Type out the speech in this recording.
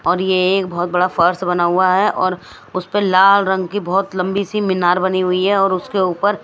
और यह एक बहुत बड़ा फर्श बना हुआ हैऔर उस पर लाल रंग की बहुत लंबी सी मीनार बनी हुई हैऔर उसके ऊपर--